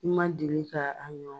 I ma deli ka an